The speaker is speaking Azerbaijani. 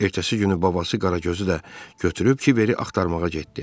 Ertəsi günü babası Qaragözü də götürüb Kiveri axtarmağa getdi.